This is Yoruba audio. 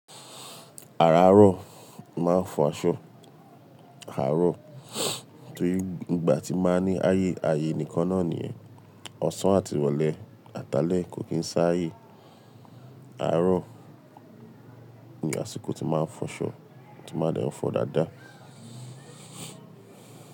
Àràárọ̀ mo máa ń fọ aṣọ, àárọ̀ torí ìgbà tí báa ń ní ayé, ayé nìkan náà nìyẹn. Ọ̀sán àti ìrọ̀lẹ́, àtalẹ̀ kò kì ń sáyè. Àárọ̀ ni àsìkò tí máa ń fọṣọ, tí máa dẹ̀ fọ̀ ọ́ dáadáa.